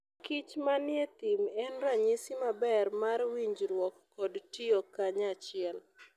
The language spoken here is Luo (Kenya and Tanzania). kich manie thim en ranyisi maber mar winjruok kod tiyo kanyachiel.